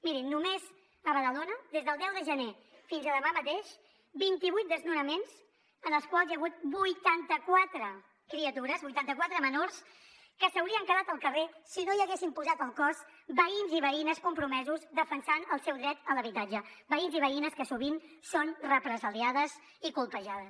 mirin només a badalona des del deu de gener fins a demà mateix vint i vuit desnonaments en els quals hi ha hagut vuitanta quatre criatures vuitanta quatre menors que s’haurien quedat al carrer si no hi haguessin posat el cos veïns i veïnes compromesos defensant el seu dret a l’habitatge veïns i veïnes que sovint són represaliades i colpejades